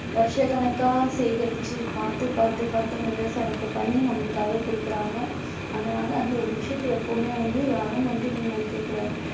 வருஷக்கணக்கா சேகரிச்சு பார்த்து பார்த்து பார்த்து அந்த விவசாயத்தை பண்ணி நம்மளுக்காக கொடுக்குறாங்க அதனால அந்த ஒரு விஷயத்தை எப்பவுமே வந்து யாரும் வந்து வீணடிக்க கூடாது